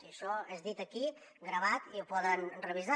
i això és dit aquí gravat i ho poden revisar